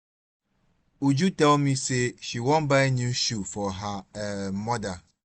uju tell me say she wan buy new shoe for her um mother